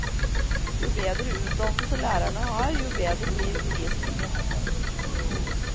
Jo bedre utdannelse lærerne har, jo bedre blir undervisningen.